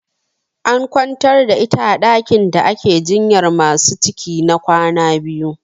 An kwantar da ita a ɗakin da ake jinyar masu ciki na kwana biyu.